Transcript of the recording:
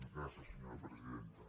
gràcies senyora presidenta